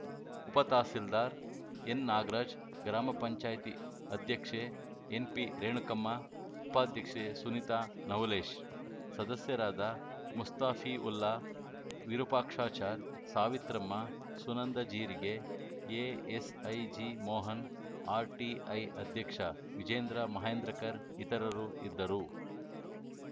ಉಪತಹಸೀಲ್ದಾರ್‌ ಎನ್‌ನಾಗರಾಜ್‌ ಗ್ರಾಮ ಪಂಚಾಯತಿ ಅಧ್ಯಕ್ಷೆ ಎನ್‌ಪಿರೇಣುಕಮ್ಮ ಉಪಾಧ್ಯಕ್ಷೆ ಸುನೀತಾ ನವುಲೇಶ್‌ ಸದಸ್ಯರಾದ ಮುಸ್ತಾಪೀವುಲ್ಲಾ ವಿರೂಪಾಕ್ಷಚಾರ್‌ ಸಾವಿತ್ರಮ್ಮ ಸುನಂದಜೀರಿಗೆ ಎಎಸ್‌ಐಜಿ ಮೋಹನ್‌ ಆರ್‌ಟಿಐ ಅಧ್ಯಕ್ಷ ವಿಜೇಂದ್ರ ಮಹೇಂದ್ರಕರ್‌ ಇತರರು ಇದ್ದರು